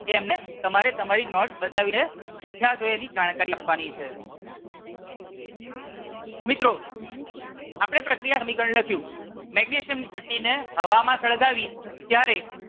એમને તમારે તમારી નોટ બતાવી ને શિક્ષકો ને એની જાણકારી આપવાની છે. મિત્રો આપણે પ્રક્રિયા સમીકરણ લખ્યું મેગ્નેશિયમ ની પટ્ટી ને હવામાં સળગાવી